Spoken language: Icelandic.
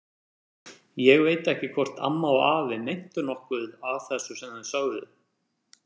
Ég veit ekki hvort amma og afi meintu nokkuð af þessu sem þau sögðu.